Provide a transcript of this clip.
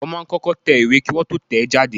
Wọ́n máa ń kọ́kọ́ tẹ ìwé Kí Wọ́n tó tẹ̀ ẹ́ jáde.